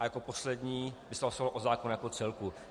A jako poslední by se hlasovalo o zákonu jako celku.